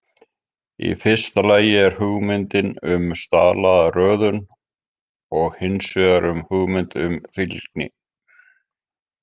Í fyrsta lagi er hugmyndin um staðlaða röðun, og hins vegar hugmyndin um fylgni.